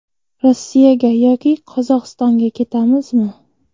Rossiyaga yoki Qozog‘istonga ketamizmi?